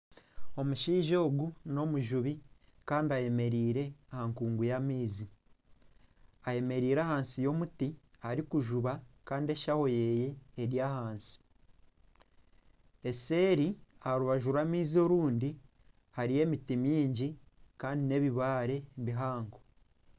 Omushaija ogu n'omujubi Kandi ayemereire aha nkungu y'amaizi. Ayemereire ahansi y'omuti Ari kujuba Kandi eshaho ye eri ahansi. Eseeri aha rubaju rwa maizi orundi hariyo emiti mingi Kandi n'ebibaare bihango.